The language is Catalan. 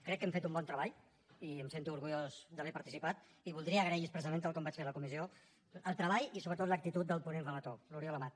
crec que hem fet un bon treball i em sento orgullós d’haver hi participat i voldria agrair expressament tal com vaig fer a la comissió el treball i sobretot l’actitud del ponent relator l’oriol amat